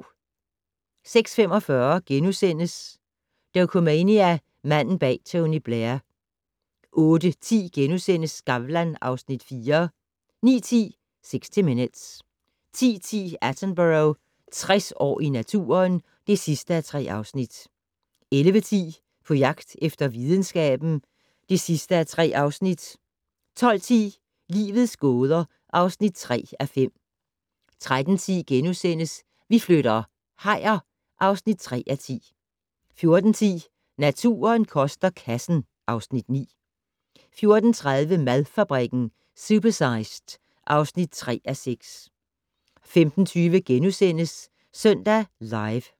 06:45: Dokumania: Manden bag Tony Blair * 08:10: Skavlan (Afs. 4)* 09:10: 60 Minutes 10:10: Attenborough - 60 år i naturen (3:3) 11:10: På jagt efter videnskaben (3:3) 12:10: Livets gåder (3:5) 13:10: Vi flytter - hajer (3:4)* 14:10: Naturen koster kassen (Afs. 9) 14:30: Madfabrikken - Supersized (3:6) 15:20: Søndag Live *